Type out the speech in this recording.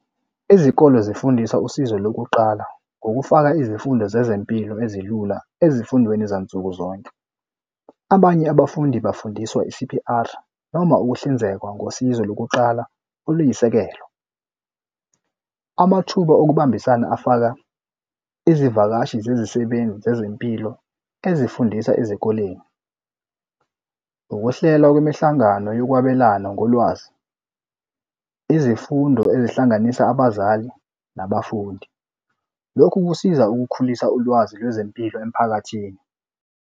Izikole zifundisa usizo lokuqala ngokufaka izifundo zezempilo ezilula ezifundweni zansukuzonke. Abanye abafundi bafundiswa i-C_P_R noma ukuhlinzekwa ngosizo lokuqala oluyisekelo. Amathuba okubambisana afaka izivakashi zezisebenzi zezempilo ezifundisa ezikoleni. Ukuhlela kwemihlangano yokwabelana ngolwazi, izifundo ezihlanganisa abazali nabafundi. Lokhu kusiza ukukhulisa ulwazi lwezempilo emphakathini.